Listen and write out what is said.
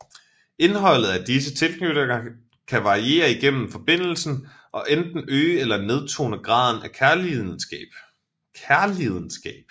Indholdet af disse tilknytninger kan variere igennem forbindelsen og enten øge eller nedtone graden af kærlidenskab